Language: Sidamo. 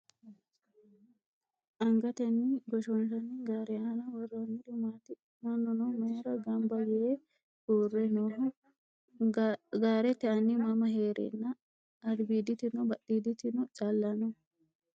Angateni goshoonshanni gaare aana worroonniri maati? Mannuno mayiira gamba yee uure nooho? Gaarete anni mama heerenna albiiditino badhiditino callawa no?